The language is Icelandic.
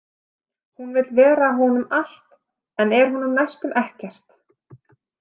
Hún vill vera honum allt en er honum næstum ekkert.